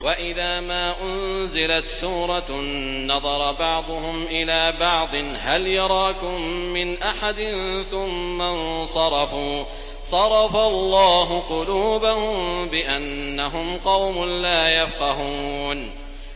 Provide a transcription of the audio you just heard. وَإِذَا مَا أُنزِلَتْ سُورَةٌ نَّظَرَ بَعْضُهُمْ إِلَىٰ بَعْضٍ هَلْ يَرَاكُم مِّنْ أَحَدٍ ثُمَّ انصَرَفُوا ۚ صَرَفَ اللَّهُ قُلُوبَهُم بِأَنَّهُمْ قَوْمٌ لَّا يَفْقَهُونَ